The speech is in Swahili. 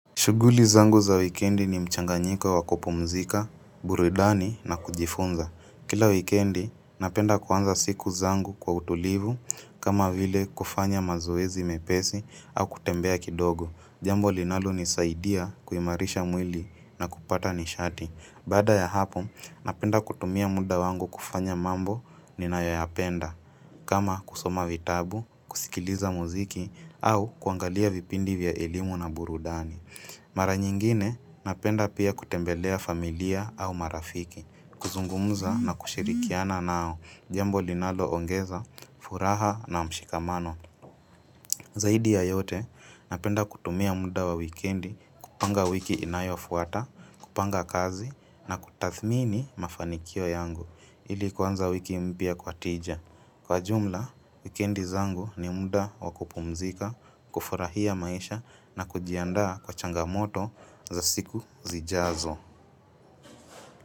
Shughuli zangu za wikendi ni mchanganyiko wa kupumzika, burudani na kujifunza. Kila wikendi napenda kuanza siku zangu kwa utulivu kama vile kufanya mazoezi mepesi au kutembea kidogo. Jambo linalonisaidia kuimarisha mwili na kupata nishati. Baada ya hapo, napenda kutumia muda wangu kufanya mambo ninayoyapenda kama kusoma vitabu, kusikiliza muziki au kuangalia vipindi vya elimu na burudani. Mara nyingine napenda pia kutembelea familia au marafiki, kuzungumza na kushirikiana nao, jambo linalo ongeza furaha na mshikamano. Zaidi ya yote, napenda kutumia muda wa wikendi, kupanga wiki inayofuata, kupanga kazi na kutathmini mafanikio yangu, ili kuanza wiki mpya kwa tija. Kwa jumla, wikendi zangu ni muda wa kupumzika, kufurahia maisha na kujiandaa kwa changamoto za siku zijazo.